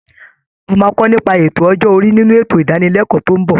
A máa kọ nípa ètò ọjọ́ orí nínú ètò ìdánilẹ́kọ̀ọ́ tó ń bọ̀